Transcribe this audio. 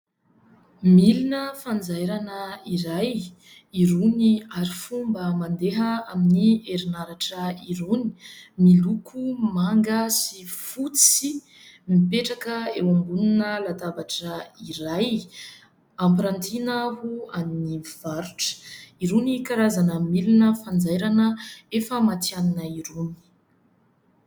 Milona fanjairana iray. Irony harifomba mandeha amin'ny herinaratra irony, miloko manga sy fotsy, mipetraka eo ambonina latabatra iray ampirantiana ho amin'ny mpivarotra. Irony karazana milona fanjairana efa matihanina irony.